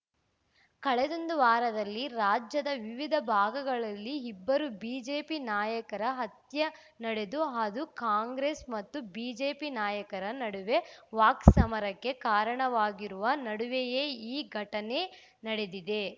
ಕಳೆದೊಂದು ವಾರದಲ್ಲಿ ರಾಜ್ಯದ ವಿವಿಧ ಭಾಗಗಳಲ್ಲಿ ಇಬ್ಬರು ಬಿಜೆಪಿ ನಾಯಕರ ಹತ್ಯೆ ನಡೆದು ಅದು ಕಾಂಗ್ರೆಸ್‌ ಮತ್ತು ಬಿಜೆಪಿ ನಾಯಕರ ನಡುವೆ ವಾಕ್ಸಮರಕ್ಕೆ ಕಾರಣವಾಗಿರುವ ನಡುವೆಯೇ ಈ ಘಟನೆ ನಡೆದಿದೆ